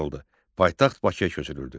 Paytaxt Bakıya köçürüldü.